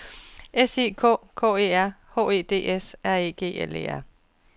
S I K K E R H E D S R E G L E R